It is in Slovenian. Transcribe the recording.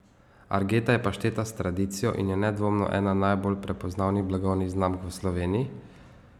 Argeta je pašteta s tradicijo in je nedvomno ena najbolj prepoznavnih blagovnih znamk v Sloveniji.